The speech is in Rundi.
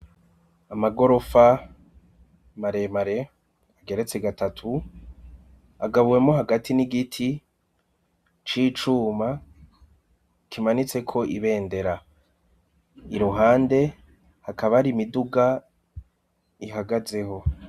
Amagorofa maremare ageretse gatatu agabuwemo hagati n'igiti c'icuma kimanitse ko ibendera i ruhande hakaba ari imiduga ihagazeho.